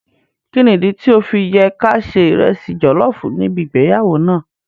Kíni ìdí tí ọ́ fi yẹ ká ṣe ìresì jọ̀lọ́ọ̀fù níbi ìgbéyàwó náà?